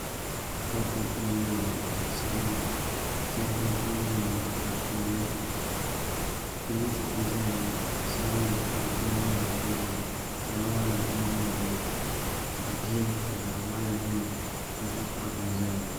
Kapu n yiliya ŋo zaɣ sabinli chɛrigi n yiliya ŋo zaɣ piɛlli pileet n ʒɛya ŋo zaɣ sabinli ka di puuni nyɛ zaɣ dozim fulaawa nim n ʒɛya ŋo zaŋ jihi ka zaɣ waɣala biɛni hita kaap n ʒɛya ŋo